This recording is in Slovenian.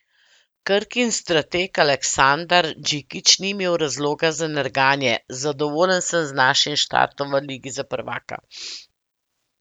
Krkin strateg Aleksandar Džikić ni imel razloga za nerganje: 'Zadovoljen sem z našim štartom v ligi za prvaka.